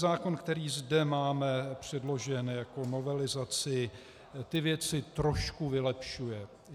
Zákon, který zde máme předložen jako novelizaci, ty věci trošku vylepšuje.